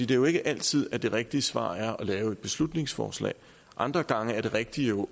det er jo ikke altid at det rigtige svar er at lave et beslutningsforslag andre gange er det rigtige